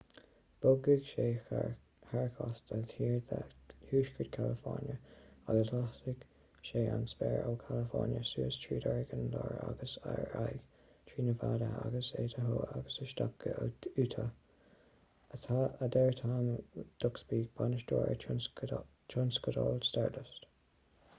bogfaidh sé thar chósta thiar de thuaisceart california agus lasfaidh sé an spéir ó california suas tríd oregon láir agus ar aghaidh trí nevada agus idaho agus isteach go utah a deir tom duxbury bainisteoir tionscadail stardust